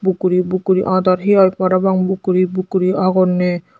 book guri book guri adar hey hai parapang book guri book guri agonney.